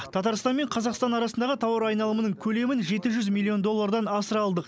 татарстан мен қазақстан арасындағы тауар айналымының көлемін жеті жүз миллион доллардан асыра алдық